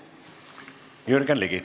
Jürgen Ligi.